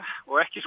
og ekki